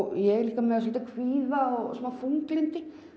ég er líka með kvíða og smá þunglyndi